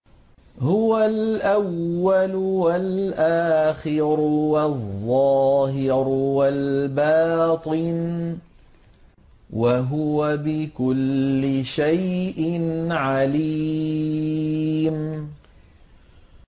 هُوَ الْأَوَّلُ وَالْآخِرُ وَالظَّاهِرُ وَالْبَاطِنُ ۖ وَهُوَ بِكُلِّ شَيْءٍ عَلِيمٌ